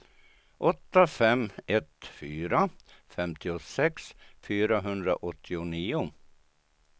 åtta fem ett fyra femtiosex fyrahundraåttionio